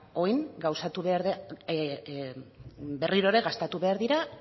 orain berriro ere gastatu behar dira